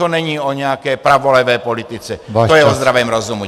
To není o nějaké pravolevé politice, to je o zdravém rozumu.